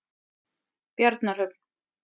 Bjarnarhöfn